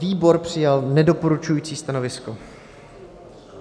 Výbor přijal nedoporučující stanovisko.